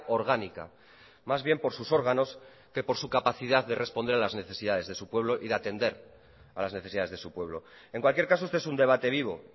orgánica más bien por sus órganos que por su capacidad de responder a las necesidades de su pueblo y de atender a las necesidades de su pueblo en cualquier caso este es un debate vivo